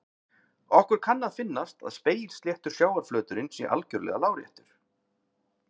Okkur kann að finnast að spegilsléttur sjávarflöturinn sé algjörlega láréttur.